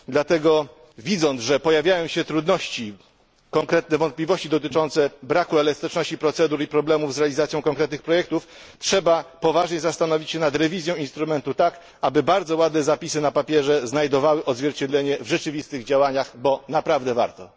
Dlatego widząc, że pojawiają się trudności, konkretne wątpliwości dotyczące braku elastyczności procedur i problemów z realizacją konkretnych projektów, trzeba poważnie zastanowić się nad rewizją instrumentu, tak aby bardzo ładne zapisy na papierze znajdowały odzwierciedlenie w rzeczywistych działaniach, bo naprawdę warto.